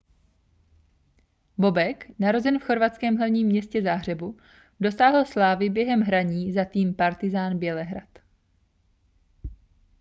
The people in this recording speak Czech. bobek narozen v chorvatském hlavním městě záhřebu dosáhl slávy během hraní za tým partizan bělehrad